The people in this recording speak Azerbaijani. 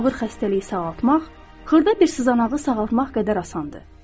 Ağır xəstəliyi sağaltmaq, xırda bir sızanağı sağaltmaq qədər asandır.